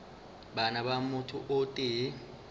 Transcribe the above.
bana ba motho o tee